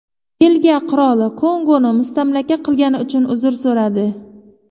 Belgiya qiroli Kongoni mustamlaka qilgani uchun uzr so‘radi.